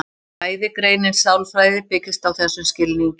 Fræðigreinin sálfræði byggist á þessum skilningi.